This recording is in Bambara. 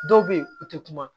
Dɔw bɛ yen u tɛ kuma